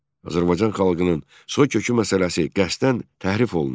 Azərbaycan xalqının soy kökü məsələsi qəsdən təhrif olunur.